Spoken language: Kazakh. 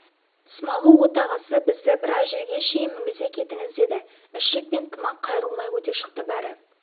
смағұл отағасы бізді біраз жерге шейін мінгізе кетіңіз деді ішік пен тымақ қайырылмай өте шықты бәрі